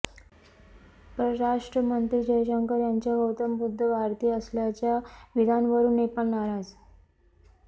परराष्ट्रमंत्री जयशंकर यांच्या गौतम बुद्ध भारतीय असल्याच्या विधानावरून नेपाळ नाराज